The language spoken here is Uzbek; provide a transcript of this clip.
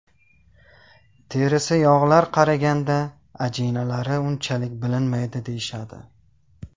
Terisi yog‘lilar qariganda ajinlari unchalik bilinmaydi deyishadi.